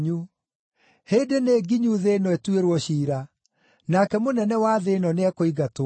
Hĩndĩ nĩ nginyu thĩ ĩno ĩtuĩrwo ciira; nake mũnene wa thĩ ĩno nĩekũingatwo.